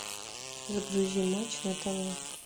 загрузи матч на тв